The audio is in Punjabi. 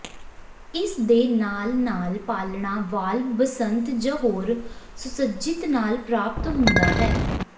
ਇਸ ਦੇ ਨਾਲ ਨਾਲ ਪਾਲਣਾ ਵਾਲਵ ਬਸੰਤ ਜ ਹੋਰ ਸੁਸੱਜਿਤ ਨਾਲ ਪ੍ਰਾਪਤ ਹੁੰਦਾ ਹੈ